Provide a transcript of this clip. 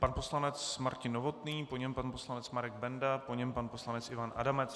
Pan poslanec Martin Novotný, po něm pan poslanec Marek Benda, po něm pan poslanec Ivan Adamec.